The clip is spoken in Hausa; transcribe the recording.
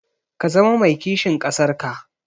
Ka zama mai kishin ƙasar ka.